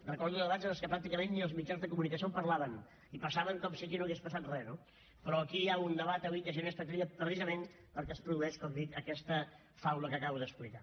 recordo debats en què pràcticament ni els mitjans de comunicació parlaven i passaven com si aquí no hagués passat re no però aquí hi ha un debat avui que genera expectativa precisament perquè es produeix com dic aquesta faula que acabo d’explicar